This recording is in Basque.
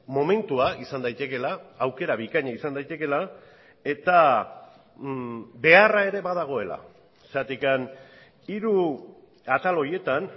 momentua izan daitekeela aukera bikaina izan daitekeela eta beharra ere badagoela zergatik hiru atal horietan